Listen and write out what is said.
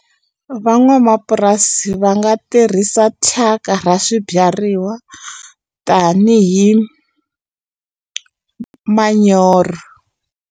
Van'wamapurasi va nga tirhisa thyaka ra swibyariwa tanihi manyoro.